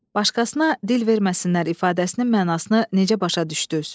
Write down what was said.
Başqasına dil verməsinlər ifadəsinin mənasını necə başa düşdünüz?